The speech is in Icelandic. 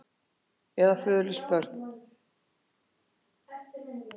Eða föðurlaus börn.